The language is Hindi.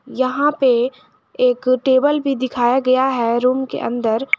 यहां पे एक टेबल भी दिखाया गया है रूम के अंदर।